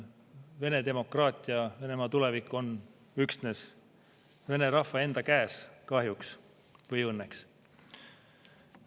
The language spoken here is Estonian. Vene demokraatia, Venemaa tulevik on üksnes Vene rahva enda käes – kahjuks või õnneks.